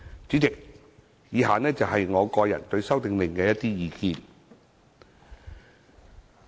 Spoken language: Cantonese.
主席，以下是我個人對《修訂令》的一些意見。